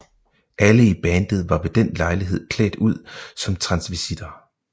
Alle i bandet var ved den lejlighed klædt ud som transvistitter